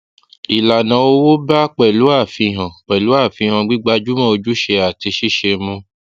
ìlànà owó bá pẹlú àfihàn pẹlú àfihàn gbígbajúmọ ojúṣe àti ṣíṣe mu